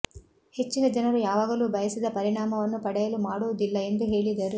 ಹೆಚ್ಚಿನ ಜನರು ಯಾವಾಗಲೂ ಬಯಸಿದ ಪರಿಣಾಮವನ್ನು ಪಡೆಯಲು ಮಾಡುವುದಿಲ್ಲ ಎಂದು ಹೇಳಿದರು